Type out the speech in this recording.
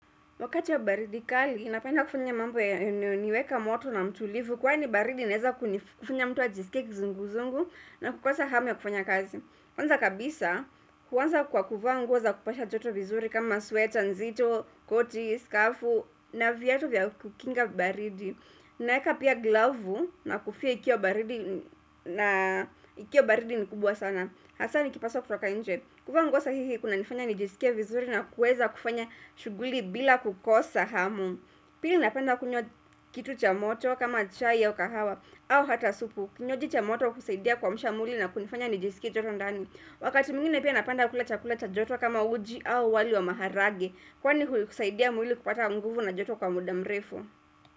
Wakati wa baridi kali, napenda kufanya mambo ya nayoniweka moto na mtulivu. Kwani baridi inaweza kufanya mtu a jisikie kizunguzungu na kukosa hamu ya kufanya kazi. Kwanza kabisa, kuanza kwa kuvaa nguo za kupasha joto vizuri kama sweta nzito, koti, skafu, na viatu vya kukinga baridi. Naeka pia glavu na kofia ikiwa baridi ni kubwa sana. Hasani kipaswa kutoka inje. Kuvanguo sahihi kuna nifanya nijisikie vizuri na kuweza kufanya shughuli bila kukosa hamu. Pili napanda kunywa kitu cha moto kama chai au kahawa au hata supu. Kinywaji cha moto kusaidia kuamsha mwili na kunifanya nijisikia joto ndani. Wakati mwingine pia napanda kula chakula cha joto kama uji au wali wa maharage. Kwani husaidia mwili kupata nguvu na joto kwa muda mrefu.